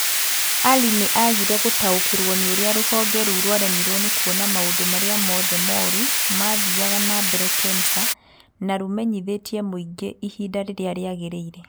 Ali nĩ aagire gũtaũkĩrwo nĩ ũrĩa rũhonge rũu rwaremirwo nĩ kũona maũndu marĩa mothe moru mathiaga na mbere Kemsa na rũmenyithie mũingĩ ihinda rĩrĩa rĩagĩrĩire.